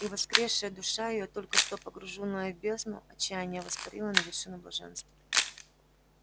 и воскресшая душа её только что погруженная в бездну отчаяния воспарила на вершину блаженства